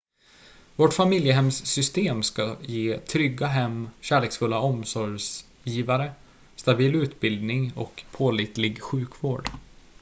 vårt familjehemssystem ska ge trygga hem kärleksfulla omsorgsgivare stabil utbildning och pålitlig sjukvård